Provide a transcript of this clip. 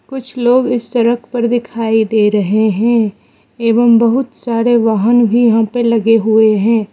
कुछ लोग इस सड़क पर दिखाई दे रहे हैं एवं बहुत सारे वाहन भी यहां पे लगे हुए हैं।